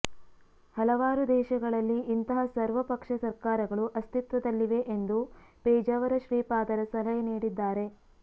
ಹಲವಾರು ದೇಶಗಳಲ್ಲಿ ಇಂತಹ ಸರ್ವ ಪಕ್ಷ ಸರ್ಕಾರಗಳು ಅಸ್ತಿತ್ವದಲ್ಲಿವೆ ಎಂದು ಪೇಜಾವರ ಶ್ರೀಪಾದರ ಸಲಹೆ ನೀಡಿದ್ದಾರೆ